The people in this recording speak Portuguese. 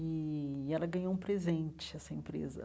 E ela ganhou um presente, essa empresa.